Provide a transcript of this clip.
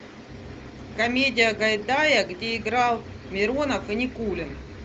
комедия гайдая где играл миронов и никулин